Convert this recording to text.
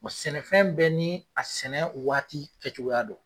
sɛnɛfɛn bɛ ni a sɛnɛ waati kɛ cogo ya don.